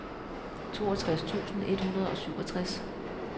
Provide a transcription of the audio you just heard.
toogtres tusind et hundrede og syvogtres